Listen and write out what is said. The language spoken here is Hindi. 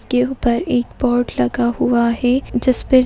इसके ऊपर एक बोर्ड लगा हुआ है। जिस पे --